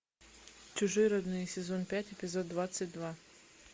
чужие родные сезон пять эпизод двадцать два